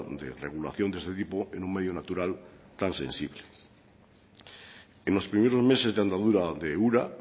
de regulación de este tipo en un medio natural tan sensible en los primeros meses de andadura de ura